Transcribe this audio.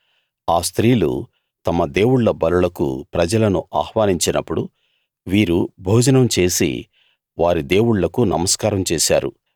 ఆ స్త్రీలు తమ దేవుళ్ళ బలులకు ప్రజలను ఆహ్వానించినప్పుడు వీరు భోజనం చేసి వారి దేవుళ్ళకు నమస్కారం చేశారు